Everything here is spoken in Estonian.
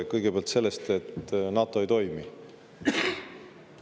Kõigepealt sellest, et NATO ei toimi.